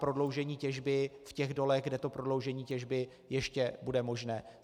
prodloužení těžby v těch dolech, kde to prodloužení těžby ještě bude možné.